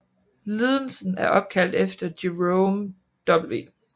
Lidelsen er opkaldt efter Jerome W